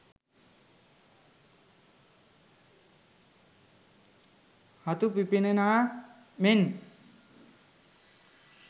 හතු පිපෙන්නාක් මෙන්